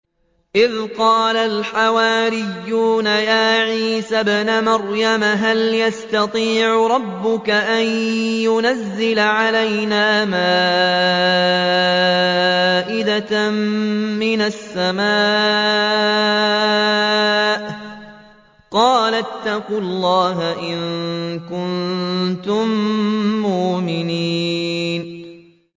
إِذْ قَالَ الْحَوَارِيُّونَ يَا عِيسَى ابْنَ مَرْيَمَ هَلْ يَسْتَطِيعُ رَبُّكَ أَن يُنَزِّلَ عَلَيْنَا مَائِدَةً مِّنَ السَّمَاءِ ۖ قَالَ اتَّقُوا اللَّهَ إِن كُنتُم مُّؤْمِنِينَ